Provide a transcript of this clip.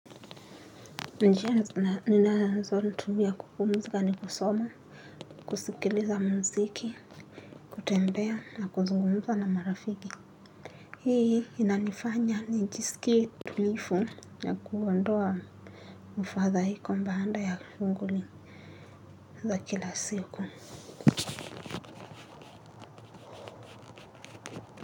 Njia ninazotumia kupumuzika ni kusoma. Kusikiliza muziki. Kutembea na kuzungumuza na marafiki. Hii inanifanya nijisikie tulivu na kuondoa mfadhaiko baada ya shunghuli za kila siku.